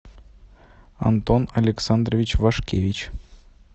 антон александрович вашкевич